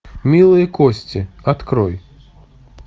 милые кости открой